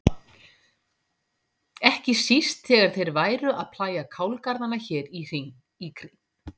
Ekki síst þegar þeir væru að plægja kálgarðana hér í kring.